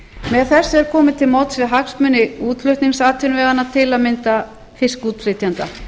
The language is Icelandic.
með þessu er komið til móts við hagsmuni útflutningsatvinnuveganna til að mynda fiskútflytjenda